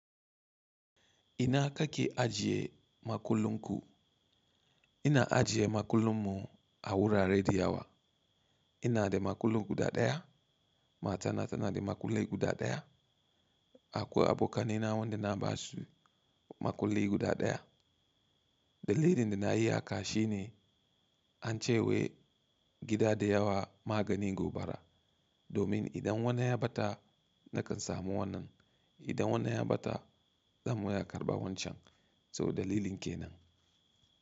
Ina ka ki ajiye makullin ku? Ina ajiye makullin mu a wurare da yawa. Ina da makulli guda ɗaya, matana tana da makulli guda ɗaya. Akwai abokanai na wanda na ba su makulli guda ɗaya. Dalilin da na yi haka shine an ce wai gida da yawa magani gobara. Domin idan wannan ya ɓata nakan samu wannan. Idan wannan ya ɓata zan ma iya karɓa wancan. To dalilin kenan.